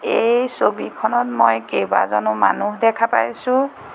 এই ছবিখনত মই কেইবাজনো মানুহ দেখা পাইছোঁ।